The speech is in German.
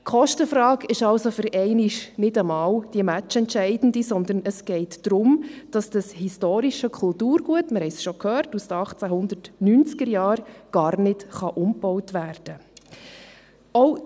Die Kostenfrage ist also für einmal nicht mal die matchentscheidende, sondern es geht darum, dass dieses historische Kulturgut – wir haben es schon gehört – aus den 1890er-Jahren gar nicht umgebaut werden kann.